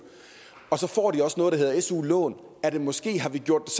og så får de også noget der hedder su lån måske har vi gjort